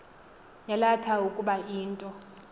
yalatha ukuba into